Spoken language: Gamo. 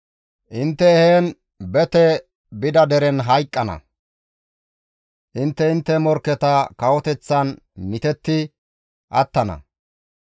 Intte bete biidi he deren hayqqana; intte intte morkketa kawoteththan mitetti attana.